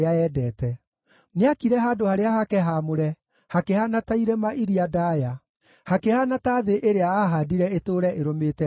Nĩaakire handũ harĩa hake haamũre hakĩhaana ta irĩma iria ndaaya, hakĩhaana ta thĩ ĩrĩa aahaandire ĩtũũre ĩrũmĩte nginya tene.